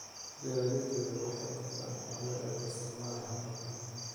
Beeralayda yaryar waxay dhaqdaan xoolaha iyagoo isticmaalaya hab-dhaqameed.